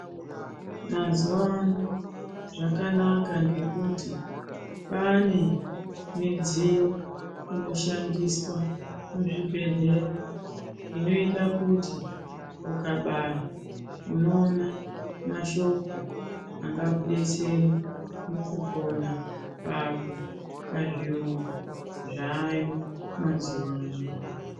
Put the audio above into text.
Muzuva ano zvakanaka ngekuti kwaane midziyo inoshandiswa muzvibhedhlera inoita kuti ukabaya unoona mashoko angakudetsera mukupona kwako pazviyungu zvaayo mazuva ano.